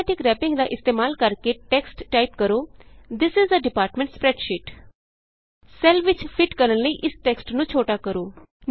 automatic wrapping ਦਾ ਇਸਤੇਮਾਲ ਕਰਕੇ ਟੈਕਸਟ ਟਾਈਪ ਕਰੋ this is a department spreadsheet cell ਵਿਚ ਫਿਟ ਕਰਨ ਲਈ ਇਸ ਟੈਕਸਟ ਨੂੰ ਛੋਟਾ ਕਰੋ